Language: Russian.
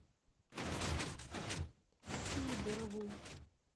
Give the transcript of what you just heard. сидорову